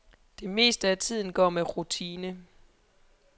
Det meste af tiden går med rutine.